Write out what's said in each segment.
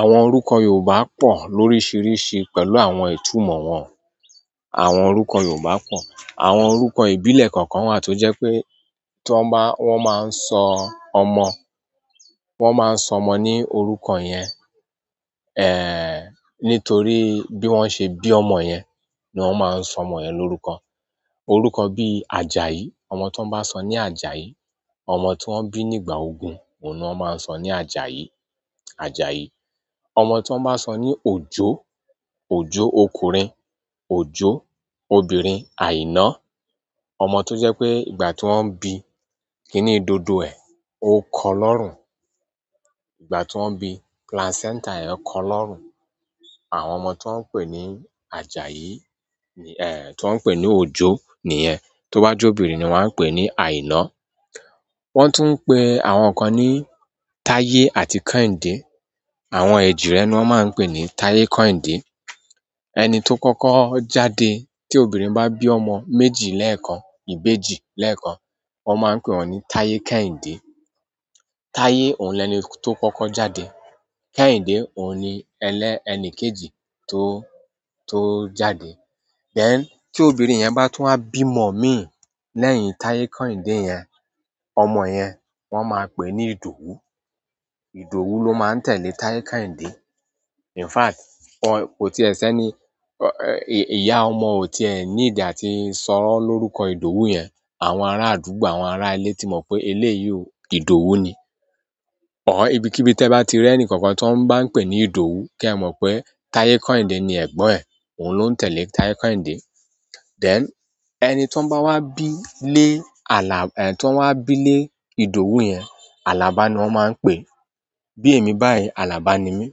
Àwọn oríkọ Yorùbá pọ̀ lóríṣiríṣi pẹ̀lú àwọn ìtumọ̀ wọn. Àwọn orúkọ Yorùbá pọ̀. Àwọn orúkọ ìbílẹ̀ kọ̀ọ̀kan wà tó jẹ́ pé ti wọn bá wọ́n máa ń sọ ọmọ, wọ́n máa ń sọ ọmọ ní orúkọ yẹn. Nítorí bí wọ́n ṣe bí ọmọ yẹn ni wọ́n máa ń sọ ọmọ yẹn lórúkọ. Orúkọ bí Àjàyí, ọmọ tó bá sọ ní Àjàyí, ọmọ ti wọ́n bí nígbà ogun, òun ni wọ́n máa ń sọ ní Àjàyí, Àjàyí. Ọmọ tó bá sọ ní Òjó, Òjó ọkùnrin, Òjó obìnrin Àìná. Ọmọ tó jẹ́ pé ìgbà tí wọ́n ń bí i, kíní dòdò ẹ̀ ó kọ lọ́rùn. Ìgbà tí wọ́n ń bí i, placenta yẹn kọ́ lọ́rùn. Àwọn ọmọ tó ń pè ní Àjàyi ehn, ti wọń pè ní Òjó nìyẹn. To ba je obìnrin ni wọn a pe ni aina. Wọ́n tún ń pè àwọn kan ní Táyé àti Kẹ́hìndé. Àwọn èjìrẹ ni wọ́n máa ń pè ní Táyé, Kẹ́hìndé. Ẹni tó kọ́kọ́ jáde tí obìnrin bá bí ọmọ méjì lẹ́ẹ̀kan, ìbejì lẹ́ẹ̀kan, wọ́n máa ń pè wọ́n ní Táyé, Kẹ́hìndé. Táyé òun lẹni tó kọ́kọ́ jáde. Kẹ́hìndé òun ni ẹlẹ́ ẹni kejì tó, tó jáde. Then tí ọbinrin yẹn bá tún wa bí mọ̀ mí lẹ́yìn Táyé, Kẹ́hìndé yẹn, ọmọ yẹn wọ́n máa ń pè ní Ìdòwú. Ìdòwú ló máa ń tẹ̀lé Táyé, Kẹ́hìndé. In fact, wọ́n kò ti ẹ ṣé ní, ìyá ọmọ ò tí ẹ ní a tí sọ̀ọ lórúkọ Ìdòwú yẹn, àwọn ará àdúgbò, àwọn ará ilé tí mọ̀ pé eléyìí ò Ìdòwú ni. Ibikíbi tí ẹ bá ti rí ẹnìkankan tó ń bá ń pè ní Ìdòwú kí ẹ mọ̀ pé Táyé, Kẹ́hìndé ni ẹ̀gbọ́n ẹ̀. Òun ló ń tẹ̀lé Táyé, Kẹ́hìndé. Then ẹni tí wọ́n bá wá bí lé alà, tí wọ́n wá bí lé Ìdòwú yẹn, Alaba ni wọ́n máa ń pè. Bí èmi báyìí, alába ni mí.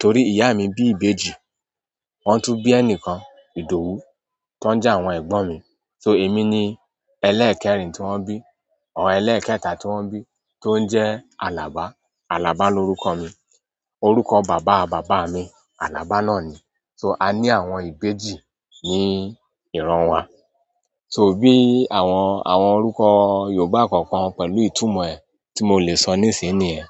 Torí ìyá mi bí ìbejì, wọ́n tún bí ẹnìkan, Ìdòwú, tó ń jẹ́ àwọn ẹ̀gbọ́n mi. So èmi ni ẹlẹ́ẹ̀kẹrin tí wọ́n bí, ọ̀ ẹlẹ́ẹ̀kẹta tí wọ́n bí tó ń jẹ́ Alaba. Alaba lórúkọ mi. Orúkọ baba baba mi alaba nani so a ni àwọn ibeji ni iran wa bi àwọn orúkọ yorùbá kokan pẹ̀lú itunmo ẹ ti mo le so nisin niyen.